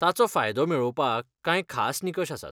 ताचो फायदो मेळोवपाक कांय खास निकश आसात.